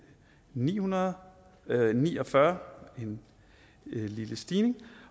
ni hundrede og ni og fyrre en lille stigning